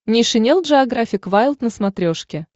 нейшенел джеографик вайлд на смотрешке